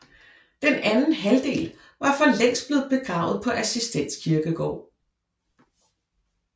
Den anden halvdel var for længst blevet begravet på Assistens Kirkegård